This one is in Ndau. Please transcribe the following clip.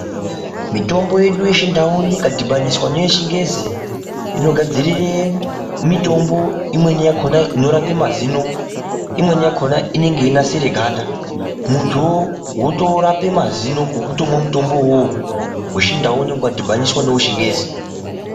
Mitombo yedu yechindau ikadhibaniswa neyechingezi inogadzirire mitombo imweni yakhona inorape mazino, imweni yakhona inenge yeinasire ganda. Muntu wotorape mazino ngokuti wotomwa mutombo uwowo wechindau unenge wadhibaniswa newechingezi.